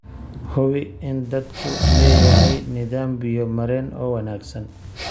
Hubi in daadadku leeyahay nidaam biyo-mareen oo wanaagsan.